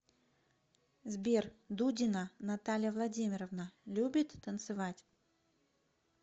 сбер дудина наталья владимировна любит танцевать